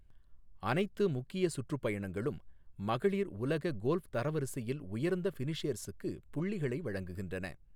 அனைத்து முக்கிய சுற்றுப்பயணங்களும் மகளிர் உலக கோல்ஃப் தரவரிசையில் உயர்ந்த ஃபினிஷேர்ஸுக்கு புள்ளிகளை வழங்குகின்றன.